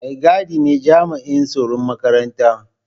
Mai gadi ne jami'in tsaron makaranta.